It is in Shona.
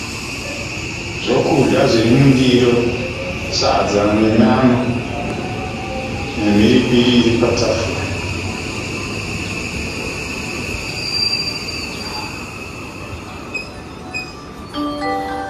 Zvokudya zvirimundiro, sadza nenyama nemhiripiri iripatafura.